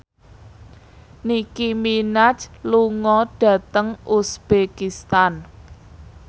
Nicky Minaj lunga dhateng uzbekistan